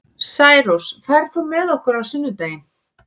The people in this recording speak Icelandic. Særós, ferð þú með okkur á sunnudaginn?